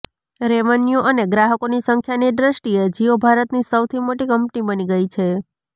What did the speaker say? revenue અને ગ્રાહકોની સંખ્યાની દ્રષ્ટિએ જિયો ભારતની સૌથી મોટી કંપની બની ગઈ છે